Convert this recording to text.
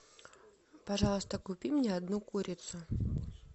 пожалуйста купи мне одну курицу